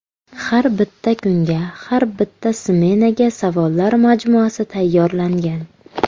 Har bitta kunga, har bitta smenaga savollar majmuasi tayyorlangan.